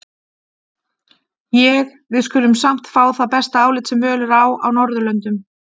Ég: við skulum samt fá það besta álit, sem völ er á á Norðurlöndum.